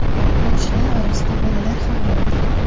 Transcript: Yo‘lovchilar orasida bolalar ham bo‘lgan.